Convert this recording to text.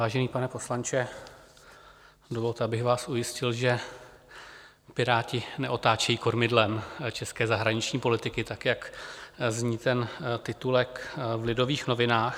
Vážený pane poslanče, dovolte, abych vás ujistil, že Piráti neotáčejí kormidlem české zahraniční politiky tak, jak zní ten titulek v Lidových novinách.